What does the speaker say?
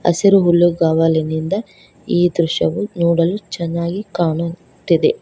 ಹಸಿರು ಹುಲ್ಲುಗವಲಿನಿಂದ ಈ ದೃಶ್ಯವು ನೋಡಲು ಚೆನ್ನಾಗಿ ಕಾಣುತ್ತಿದೆ.